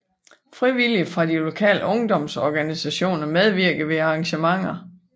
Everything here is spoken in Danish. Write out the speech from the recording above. Frivillige fra de lokale ungdomsorganisationer medvirkede ved arrangementerne